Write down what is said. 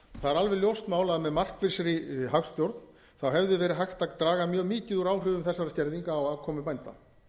það er alveg ljóst mál að með markvissri hagstjórn hefði verið hægt að draga mjög mikið úr áhrifum þessara skerðinga á afkomu bænda